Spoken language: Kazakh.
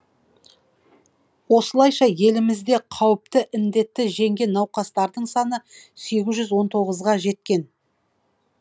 осылайша елімізде қауіпті індетті жеңген науқастардың санысегіз жүз он тоғызға жеткен